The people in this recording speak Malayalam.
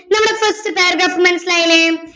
നമ്മളെ first paragraph മനസ്സിലായില്ലേ